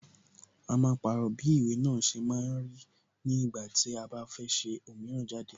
A máa pàrọ̀ bí ìwé náà ṣe máa rí ní ìgbà tí a bá fẹ́ ṣe òmíràn jáde.